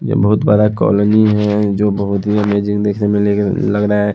ये बहुत बड़ा कॉलोनी है जो बहुत ही अमेजिंग देखने मिलेगा लग रहा है।